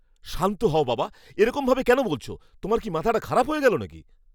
শান্ত হও, বাবা। এরকম ভাবে কেন বলছ? তোমার কি মাথাটা খারাপ হয়ে গেল নাকি?